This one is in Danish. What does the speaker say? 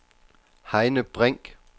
Heine Brink